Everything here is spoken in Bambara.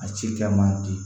A ci kɛ man di